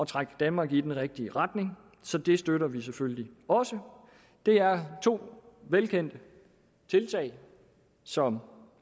trække danmark i den rigtige retning så det støtter vi selvfølgelig også det er to velkendte tiltag som